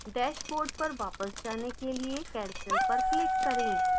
dashboard पर वापस जाने के लिए cancel पर click करें